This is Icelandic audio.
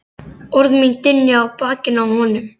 Orð mín dynja á bakinu á honum.